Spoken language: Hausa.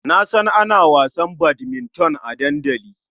Na san ana wasan badminton a dandali.